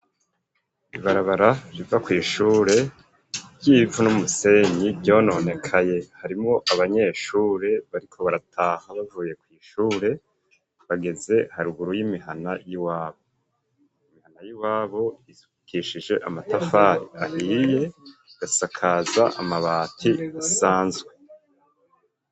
Ibarabara riva kw'ishure ry'ivu n'umusenyi ryononekaye, harimwo abanyeshure bariko barataha bavuye kw'ishure bageze haruguru y'imihana y'iwabo, imihana y'iwabo isukishije amatafari ahiye, igasakaza amabati asanzwe.